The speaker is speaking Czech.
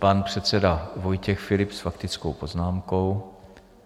Pan předseda Vojtěch Filip s faktickou poznámkou.